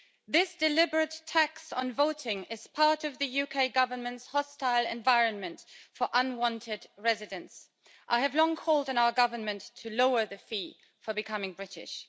This deliberate tax on voting is part of the UK Government's hostile environment for unwanted residents. I have long called on our government to lower the fee for becoming British.